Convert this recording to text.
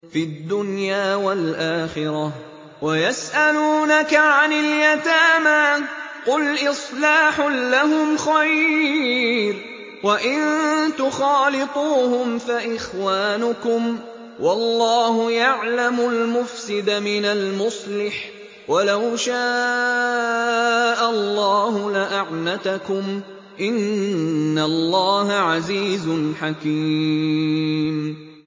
فِي الدُّنْيَا وَالْآخِرَةِ ۗ وَيَسْأَلُونَكَ عَنِ الْيَتَامَىٰ ۖ قُلْ إِصْلَاحٌ لَّهُمْ خَيْرٌ ۖ وَإِن تُخَالِطُوهُمْ فَإِخْوَانُكُمْ ۚ وَاللَّهُ يَعْلَمُ الْمُفْسِدَ مِنَ الْمُصْلِحِ ۚ وَلَوْ شَاءَ اللَّهُ لَأَعْنَتَكُمْ ۚ إِنَّ اللَّهَ عَزِيزٌ حَكِيمٌ